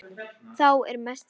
Þá er mest gaman.